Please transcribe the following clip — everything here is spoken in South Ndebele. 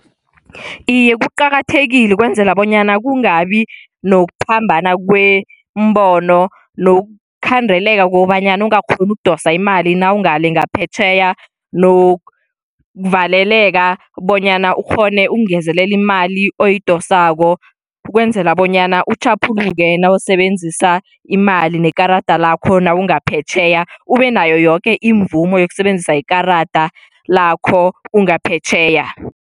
Iye, kuqakathekile ukwenzela bonyana kungabi nokuphambana kwemibono nokukhandeleka kobanyana ungakghoni ukudosa imali nawungale ngaphetjheya nokuvaleleka bonyana ukghone ukungezelela imali oyidosako. Ukwenzela bonyana utjhaphuluke nawusebenzisa imali ngekarada lakho nawungaphetjheya, ube nayo yoke imvumo yokusebenzisa ikarada lakho ungaphetjheya.